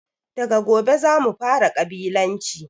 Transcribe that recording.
Daga gobe zamu fara ƙabilanci